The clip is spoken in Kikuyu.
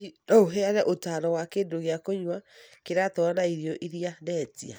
Hihi no ũheane ũtaaro wa kĩndũ gĩa kũnyua kĩratwarana na irio iria ndetĩa?